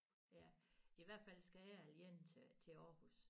Ja i hvert fald skal jeg igen til til Aarhus